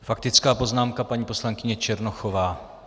Faktická poznámka paní poslankyně Černochové.